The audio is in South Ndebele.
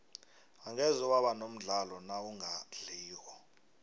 angeze waba nomdlandla nawungadliko